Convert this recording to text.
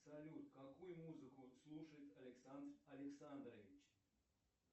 салют какую музыку слушает александр александрович